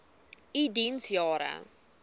u diens jare